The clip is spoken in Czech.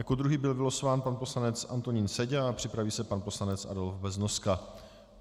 Jako druhý byl vylosován pan poslanec Antonín Seďa a připraví se pan poslanec Adolf Beznoska.